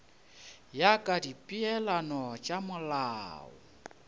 ya ka dipeelano tša molao